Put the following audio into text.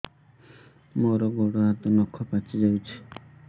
ମୋର ଗୋଡ଼ ହାତ ନଖ ପାଚି ଯାଉଛି